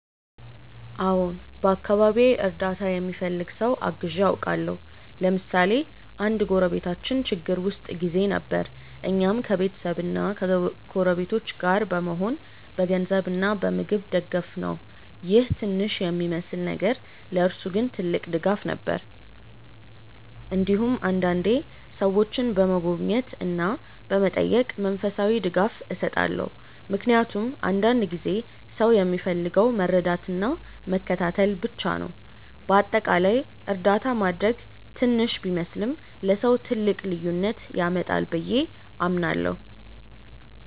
አዎን፣ በአካባቢዬ እርዳታ የሚፈልግ ሰው አግዤ አውቃለሁ። ለምሳሌ አንድ ጎረቤታችን ችግር ውስጥ ጊዜ ነበር፣ እኛም ከቤተሰብና ከጎረቤቶች ጋር በመሆን በገንዘብ እና በምግብ ደገፍነው ይህ ትንሽ የሚመስል ነገር ለእርሱ ግን ትልቅ ድጋፍ ነበር። እንዲሁም አንዳንዴ ሰዎችን በመጎብኘት እና በመጠየቅ መንፈሳዊ ድጋፍ እሰጣለሁ፣ ምክንያቱም አንዳንድ ጊዜ ሰው የሚፈልገው መረዳትና መከታተል ብቻ ነው። በአጠቃላይ እርዳታ ማድረግ ትንሽ ቢመስልም ለሰው ትልቅ ልዩነት ያመጣል ብዬ አምናለሁ።